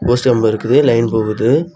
Post கம்பு இருக்குது line போகுது.